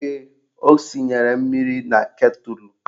Ee, o sinyere mmiri na ketụlụ